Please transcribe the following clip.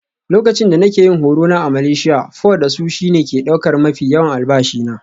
Lokacin da nake yin horo na a Malaysia, pho da sushi ne ke ɗaukar mafi yawan albashi na.